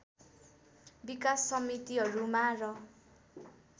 विकास समितिहरूमा र